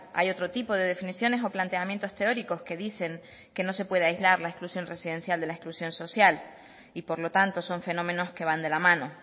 hay otro tipo de definiciones o planteamientos teóricos que dicen que no se puede aislar la exclusión residencial de la exclusión social y por lo tanto son fenómenos que van de la mano